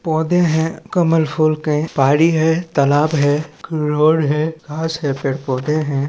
पौधे है कमल फूल के पहाड़ी है तालाब है रोड है घास है पेड़-पौधे हैं।